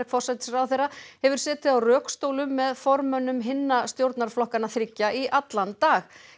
forsætisráðherra hefur setið á rökstólum með formönnum hinna stjórnarflokkanna þriggja í allan dag